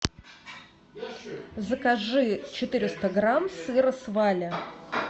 закажи четыреста грамм сыра сваля